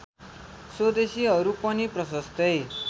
स्वदेशीहरू पनि प्रशस्तै